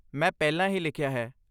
ਮੈਂ ਪਹਿਲਾਂ ਹੀ ਲਿਖਿਆ ਹੈ।